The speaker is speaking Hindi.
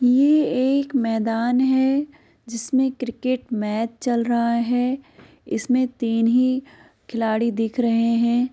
ये एक मैदान है। जिसमें क्रिकेट मैच चल रहा है। इसमें तीन ही खिलाड़ी दिख रहे हैं।